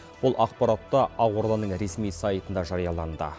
бұл ақпарат та ақорданың ресми сайтында жарияланды